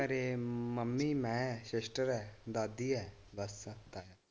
ਘਰੇ ਮੰਮੀ, ਮੈਂ, ਸਿਸਟਰ ਹੈ, ਦਾਦੀ ਹੈ ਬਸ।